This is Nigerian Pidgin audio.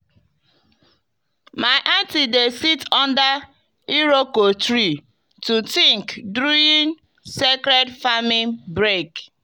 my aunty dey sit under iroko tree to think during sacred farming break.